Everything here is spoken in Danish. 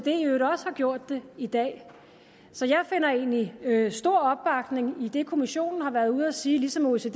har gjort det i dag så jeg finder egentlig stor opbakning i det kommissionen har været ude at sige ligesom oecd i